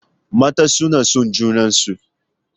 Matan suna son junarsu.